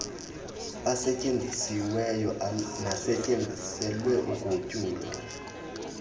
asetyenzisiweyo nasetyenziselwe ugutyulo